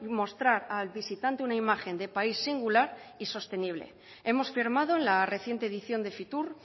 mostrar al visitante una imagen de país singular y sostenible hemos firmado en la reciente edición de fitur